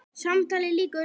Samtali lýkur.